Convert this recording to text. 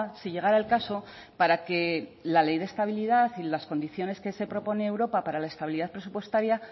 si llegará el caso para que la ley de estabilidad y las condiciones que se propone europa para la estabilidad presupuestaria